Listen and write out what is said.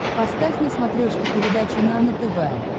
поставь на смотрешке передачу нано тв